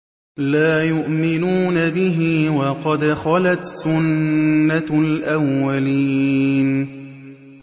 لَا يُؤْمِنُونَ بِهِ ۖ وَقَدْ خَلَتْ سُنَّةُ الْأَوَّلِينَ